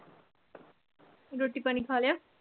ਰੋਟੀ ਪਾਣੀ ਖਾ ਲਿਆ?